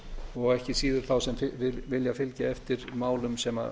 og ekki síður fyrir þá sem vilja fylgja eftir málum sem